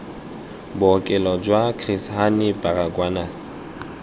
bookelo jwa chris hani baragwanath